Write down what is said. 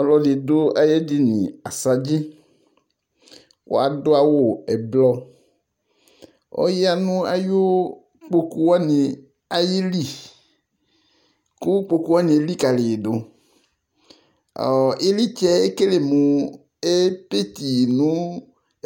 Ɔlɔ ɖɩ ɖʋ aƴʋ eɖini asɖzɩƆƴa nʋ aƴʋ ƙpoƙu wanɩ ɩllɩ,ƙʋ ƙpoƙu wanɩ eliƙaliƴɩɖʋƖlɩtsɛ eƙele mʋ epetiƴɩ nʋ